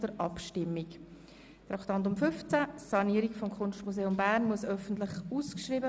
Demnach können wir bereits darüber abstimmen.